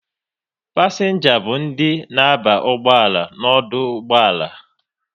Pasienga bụ ndị na aba ụgbọala n'ọdụ ụgbọala